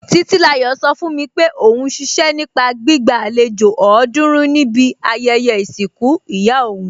Títílayọ̀ sọ fún mi pé òún ṣiṣẹ́ nípa gbígba àlejò ọ̀ọ́dúrún níbi ayẹyẹ ìsìnkú ìyá òún